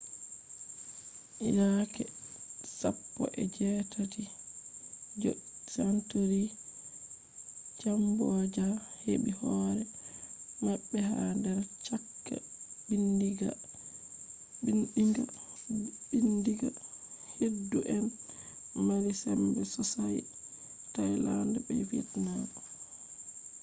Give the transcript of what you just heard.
yake 18th century cambodia heɓi hore maɓɓe ha der chaka ɓiɗɗinga keddu en mari sembe sossai thailand be vietnam